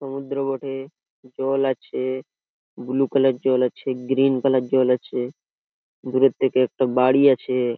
সমুদ্র বটে জল আছে ব্লু কালার জল আছে গ্রীন কালার জল আছে দূরের থেকে একটা বাড়ি আছে-এ।